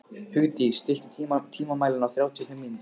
Hugdís, stilltu tímamælinn á þrjátíu og fimm mínútur.